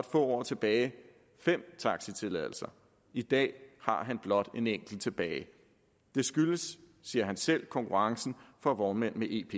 få år tilbage fem taxitilladelser i dag har han blot en enkelt tilbage det skyldes siger han selv konkurrencen fra vognmænd med ep